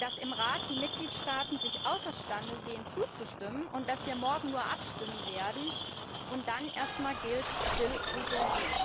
dass im Rat die Mitgliedstaaten sich außer Stande sehen zuzustimmen, und dass wir morgen nur abstimmen werden, und dann gilt erst einmal Still ruht der See.